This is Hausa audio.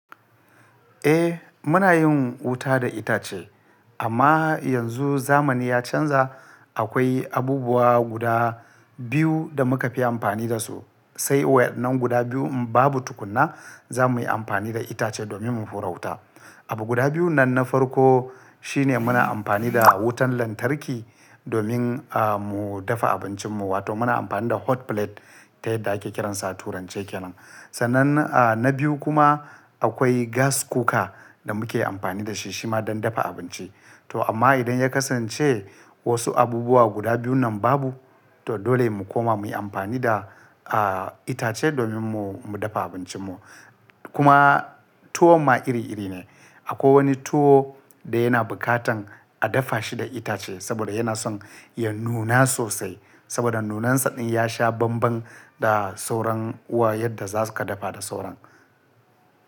Eh muna yin wuta da itace amma yanzu zamani ya canza akwai abubuwa guda biyu da muka fi amfani dasu sai waɗannan guda biyu in babu tukuna za muyi amfani da itace domin mu horata. Abu guda biyu nan na farko shine muna amfani da wutan lantarki domin ah mu dafa abincinmu wato muna amfani da hot plate ta yadda ake kiransa Turanci kenan. Sannan a na biyu kuma akwai gas cooker da muke amfani da shi shima don dafa abinci. To amma idan ya kasance wasu abubuwa guda biyu nan babu to dole mu koma muyi amfani da a itace domin mu dafa abincinmu. Kuma tuwom ma iri iri ne akwai wani tuwo da yana bukatan a dafa shi da itace saboda yana son ya nuna sosai saboda nunansa din ya sha banban da sauran uwa yadda zasu ka dafa da sauran.